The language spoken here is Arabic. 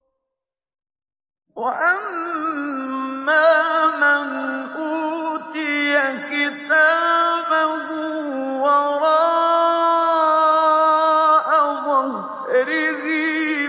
وَأَمَّا مَنْ أُوتِيَ كِتَابَهُ وَرَاءَ ظَهْرِهِ